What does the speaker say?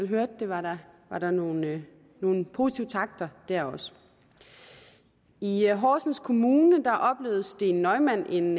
hørte det var der var nogle nogle positive takter der også i horsens kommune oplevede steen neumann en